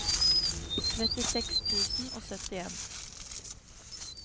trettiseks tusen og syttien